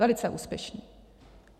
Velice úspěšní.